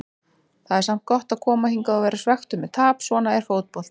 Það er samt gott að koma hingað og vera svekktur með tap, svona er fótboltinn.